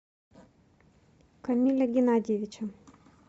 камиля геннадьевича